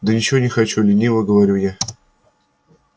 да ничего не хочу лениво говорю я